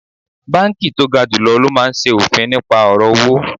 Banki to ga julo lo maa n se ofin nipa oro owo